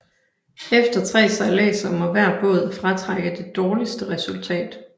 Efter tre sejladser må hver båd fratrække det dårligste resultat